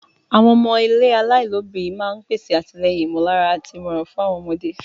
Àwọn ilé ọmọ aláìlóbìnrin náà ń pèsè àtìlẹ́yìn ìmọ̀lára àti ìmọ̀ràn fún àwọn ọmọdé.